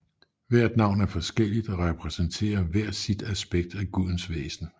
Hvert navn er forskelligt og repræsenterer hver sit aspekt af gudens væsen